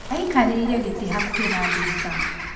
Aikarĩire gĩtĩ hakuhĩ na ndirica.